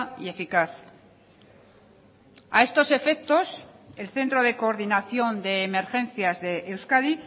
y eficaz a estos efectos el centro de coordinación de emergencias de euskadi